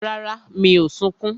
Rárá, mi ò sunkún